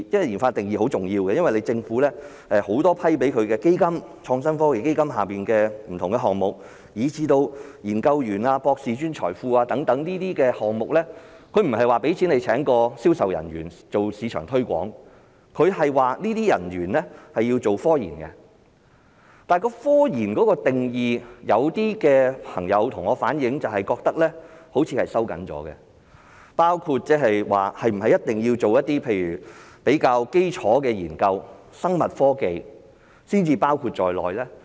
研發的定義很重要，因為政府很多批出的基金，創新科技基金下的不同項目，以至研究員、博士、專才庫等項目，它不是撥款給他們聘請銷售人員做市場推廣，而是這些人員需要從事科研工作，但是，有些朋友向我反映，覺得科研的定義收緊了，是否一定要做一些比較基礎的研究、生物科技，才包括在內？